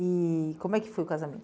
E como é que foi o casamento?